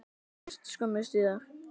Hann lést skömmu síðar.